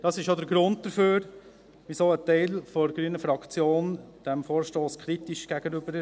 Dies ist der Grund, warum ein Teil der grünen Fraktion diesem Vorstoss kritisch gegenübersteht.